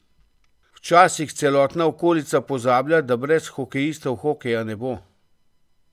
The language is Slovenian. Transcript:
Včasih celotna okolica pozablja, da brez hokejistov hokeja ne bo.